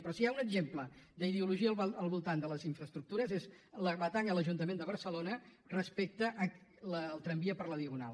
però si hi ha un exemple d’ideologia al voltant de les infraestructures és la batalla a l’ajuntament de barcelona respecte al tramvia per la diagonal